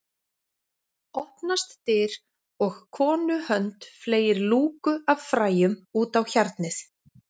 Opnast dyr og konu hönd fleygir lúku af fræjum út á hjarnið